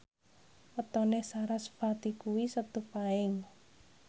wetone sarasvati kuwi Setu Paing